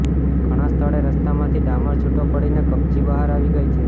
ઘણા સ્થળે રસ્તામાંથી ડામર છૂટો પડીને કપચી બહાર આવી ગઇ છે